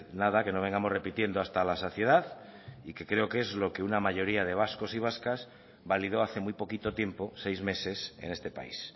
nada que no vengamos repitiendo hasta la saciedad y que creo que es lo que una mayoría de vascos y vascas validó hace muy poquito tiempo seis meses en este país